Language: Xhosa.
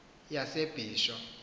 yasebisho